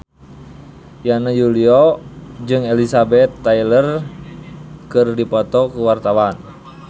Yana Julio jeung Elizabeth Taylor keur dipoto ku wartawan